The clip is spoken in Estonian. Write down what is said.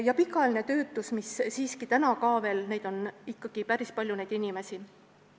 Ka pikaajaline töötus – ikkagi on päris palju neid inimesi.